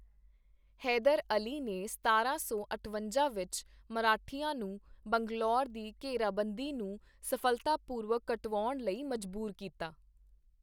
ਹੈਦਰ ਅਲੀ ਨੇ ਸਤਾਰਾਂ ਸੌ ਅਠਵੰਜਾ ਵਿੱਚ ਮਰਾਠਿਆਂ ਨੂੰ ਬੰਗਲੌਰ ਦੀ ਘੇਰਾਬੰਦੀ ਨੂੰ ਸਫ਼ਲਤਾਪੂਰਵਕ ਕਟਵਾਉਣ ਲਈ ਮਜਬੂਰ ਕੀਤਾ।